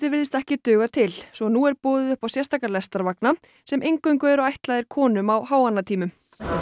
virðist ekki duga til svo nú er boðið upp á sérstaka sem eingöngu eru ætlaðir konum á háannatímum